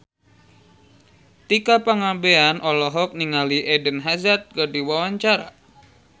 Tika Pangabean olohok ningali Eden Hazard keur diwawancara